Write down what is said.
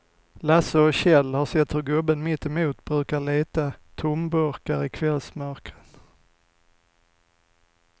Lasse och Kjell har sett hur gubben mittemot brukar leta tomburkar i kvällsmörkret.